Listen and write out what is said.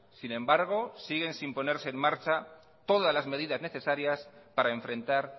sin embargo siguen sin ponerse en marcha todas las medidas necesarias para enfrentar